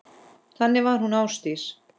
Þannig var hún Ásdís.